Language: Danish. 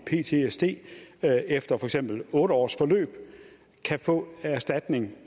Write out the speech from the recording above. ptsd efter for eksempel otte års forløb kan få erstatning